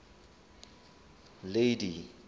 lady